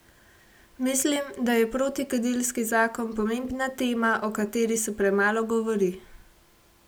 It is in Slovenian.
Mislim, da je protikadilski zakon pomembna tema, o kateri se premalo govori.